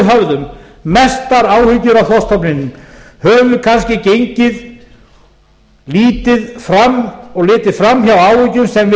höfðum mestar áhyggjur af þorskstofninum höfum við kannski gengið lítið fram og litið framhjá áhyggjum sem við